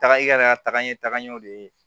Taga i yɛrɛ ka taga ɲɛ taga ɲɛ o de ye